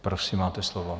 Prosím, máte slovo.